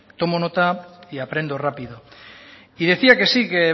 tomo nota y aprendo rápido y decía que sí que